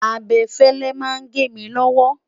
abefele nà gé mí lowo